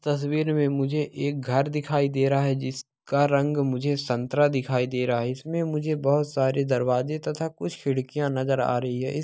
तस्वीर में मुझे एक घर दिखाई दे रहा है जिसका रंग मुझे संतरा दिखाई दे रहा है इसमें मुझे बहोत सारे दरवाजे तथा कुछ खिड़कियां नजर आ रही है इस --